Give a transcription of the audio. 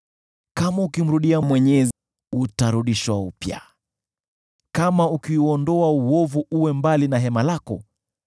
Kama ukimrudia Mwenyezi, utarudishwa upya: Kama ukiuondoa uovu uwe mbali na hema lako,